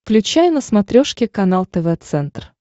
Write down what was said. включай на смотрешке канал тв центр